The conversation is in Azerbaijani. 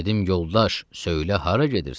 Dedim: "Yoldaş, söylə hara gedirsən?"